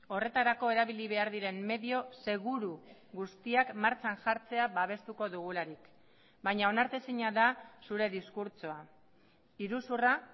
horretarako erabili behar diren medio seguru guztiak martxan jartzea babestuko dugularik baina onartezina da zure diskurtsoa iruzurra